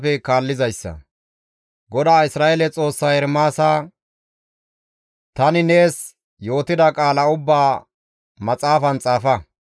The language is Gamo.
GODAA Isra7eele Xoossay Ermaasa, «Tani nees yootida qaala ubbaa maxaafan xaafa.